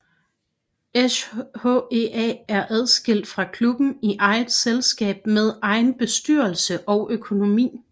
SHEA er adskilt fra klubben i eget selskab med egen bestyrelse og økonomi